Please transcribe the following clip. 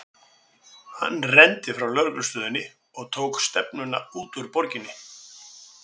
Hann renndi frá lögreglustöðinni og tók stefnuna út úr borginni.